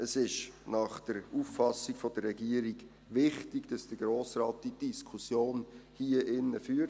Es ist nach Auffassung der Regierung wichtig, dass der Grosse Rat die Diskussion hier drin führt.